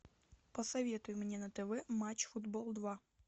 посоветуй мне на тв матч футбол два